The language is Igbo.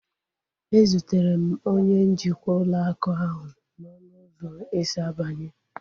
E zutere m onye njikwa ụlọ akụ ahu n'ọnụ ụzọ esi abanye